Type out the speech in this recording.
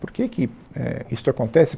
Por que que é isto acontece?